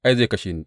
Ai, zai kashe ni!